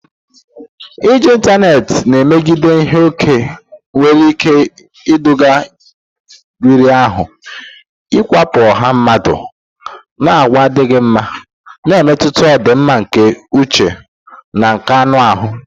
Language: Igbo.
Iji ịntanetị na-emebiga ihe ókè nwere ike iduga riri ahụ, ikewapụ ọha mmadụ, na àgwà adịghị mma, na-emetụta ọdịmma nke uche na nke anụ ahụ.